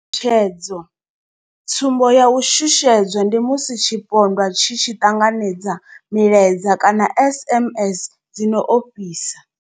Tshutshedzo tsumbo ya u shushedzwa ndi musi tshipondwa tshi tshi ṱanganedza milaedza kana SMS dzi no ofhisa.